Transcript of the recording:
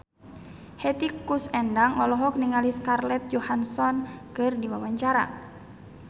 Hetty Koes Endang olohok ningali Scarlett Johansson keur diwawancara